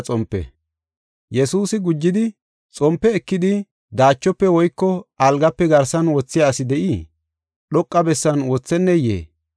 Yesuusi gujidi, “Xompe ekidi, daachofe woyko algafe garsan wothiya asi de7ii? Dhoqa bessan wothenneyee?